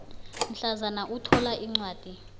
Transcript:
mhlazana uthola incwadi